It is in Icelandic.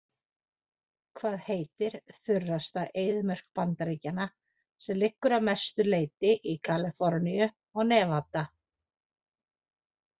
Hvað heitir þurrasta eyðimörk Bandaríkjanna sem liggur að mestu leyti í Kaliforníu og Nevada?